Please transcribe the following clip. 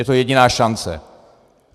Je to jediná šance.